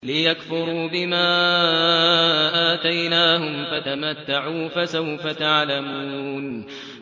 لِيَكْفُرُوا بِمَا آتَيْنَاهُمْ ۚ فَتَمَتَّعُوا ۖ فَسَوْفَ تَعْلَمُونَ